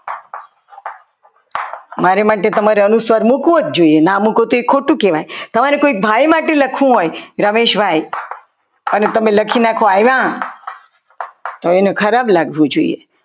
મારી માટે તમારે અનુસ્વાર મૂકવો જ જોઈએ ના મૂકો તો એ ખોટું કહેવાય તમારે કોઈ ભાઈ માટે લખવું હોય રમેશભાઈ અને તમે લખો કે રમેશભાઈ આવ્યા તો એને ખરાબ લાગવું જોઈએ.